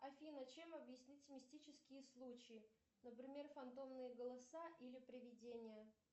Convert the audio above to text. афина чем объяснить мистические случаи например фантомные голоса или привидения